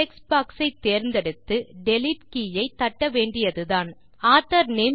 text box ஐ தேர்ந்தெடுத்து delete key ஐ தட்ட வேண்டியதுதான் ஆத்தோர் நேம்